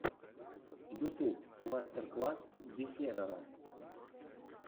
ютюб мастер класс дехерера